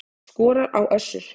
Skorar á Össur